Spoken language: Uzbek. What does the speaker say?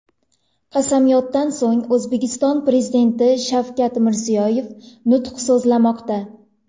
Qasamyoddan so‘ng, O‘zbekiston Prezidenti Shavkat Mirziyoyev nutq so‘zlamoqda.